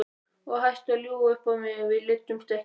Og hættu að ljúga upp á mig, við leiddumst ekki!